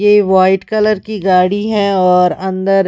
ये white colour की गाड़ी है और अंदर।